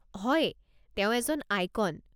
হয়, তেওঁ এজন আইকন।